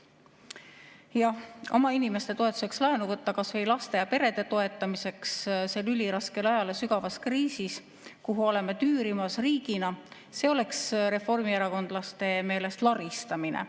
Jah, oma inimeste toetuseks laenu võtta kas või laste ja perede toetamiseks sel üliraskele ajal ja sügavas kriisis, kuhu oleme riigina tüürimas, see oleks reformierakondlaste meelest laristamine.